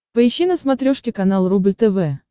поищи на смотрешке канал рубль тв